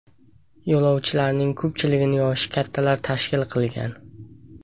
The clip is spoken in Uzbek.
Yo‘lovchilarning ko‘pchiligini yoshi kattalar tashkil qilgan.